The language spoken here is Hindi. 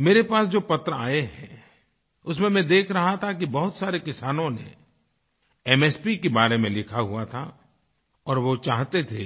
मेरे पास जो पत्र आये हैं उसमें मैं देख रहा था कि बहुत सारे किसानों ने एमएसपी के बारे में लिखा हुआ था और वो चाहते थे